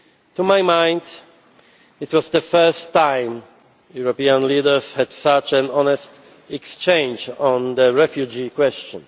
To my mind, it was the first time European leaders have had such an honest exchange on the refugee question.